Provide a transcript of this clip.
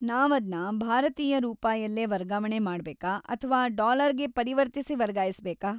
ನಾವದ್ನ ಭಾರತೀಯ ರೂಪಾಯಲ್ಲೇ ವರ್ಗಾವಣೆ ಮಾಡ್ಬೇಕಾ ಅಥ್ವಾ ಡಾಲರ್‌ಗೆ ಪರಿವರ್ತಿಸಿ ವರ್ಗಾಯಿಸ್ಬೇಕಾ ?